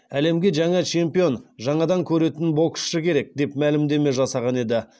әлемге жаңа чемпион жаңадан көретін боксшы керек деп мәлімдеме жасаған еді